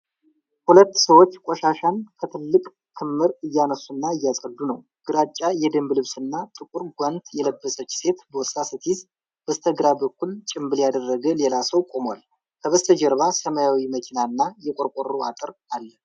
ሁለት ሰዎች ቆሻሻን ከትልቅ ክምር እያነሱና እያጸዱ ነው። ግራጫ የደንብ ልብስና ጥቁር ጓንት የለበሰች ሴት ቦርሳ ስትይዝ፣ በስተግራ በኩል ጭንብል ያደረገ ሌላ ሰዉ ቆሟል። ከበስተጀርባ ሰማያዊ መኪናና የቆርቆሮ አጥር አለ።